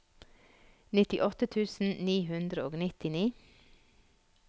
nittiåtte tusen ni hundre og nittini